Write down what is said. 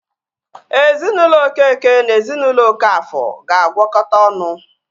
Ezinaụlọ Okeke na ezinaụlọ Okafor ga-agwọkota ọnụ